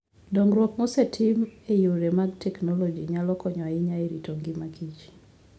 Dongruok mosetim e yore mag teknoloji nyalo konyo ahinya e rito ngima kich.